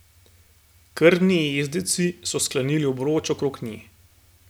Krvni jezdeci so sklenili obroč okrog nje.